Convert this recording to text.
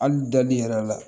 Hali dali i yɛrɛ la.